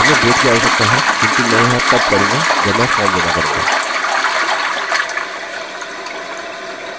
हमें date की आवश्यकता है किन्तु मैं यह तब करूँगा जब मैं फॉर्म जमा करूँगा